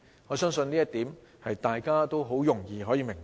我相信這一點，大家都很容易明白。